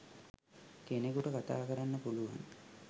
කෙනෙකුට කතා කරන්න පුලුවන්